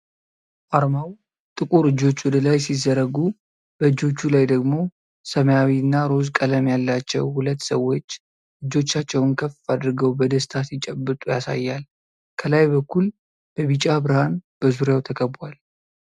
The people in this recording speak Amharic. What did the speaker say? አርማው ጥቁር እጆች ወደ ላይ ሲዘረጉ፣ በእጆቹ ላይ ደግሞ ሰማያዊ እና ሮዝ ቀለም ያላቸው ሁለት ሰዎች እጆቻቸውን ከፍ አድርገው በደስታ ሲጨበጡ ያሳያል። ከላይ በኩል በቢጫ ብርሃን በዙሪያው ተከቧል።